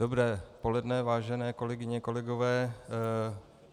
Dobré poledne, vážené kolegyně, kolegové.